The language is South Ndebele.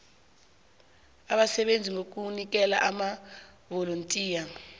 abasebenza ngokuzinikela amavolontiya